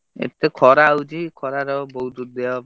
ଏତେ ଖରା ହଉଛି ଏ ଖରାରେ ଆଉ ବହୁତ୍ ଦେହ,